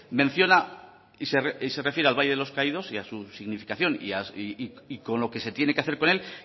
menciona y se refiere al valle de los caídos y a su significación y con lo que se tiene que hacer con él